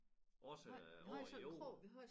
Også over æ jord